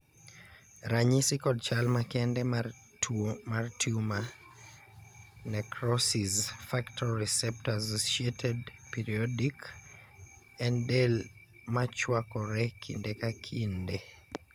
ranyisi kod chal makende mar tuo mar Tumor necrosis factor receptor associated periodic en del ma chwakore kinde ka kinde